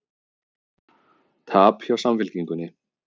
Tap hjá Samfylkingunni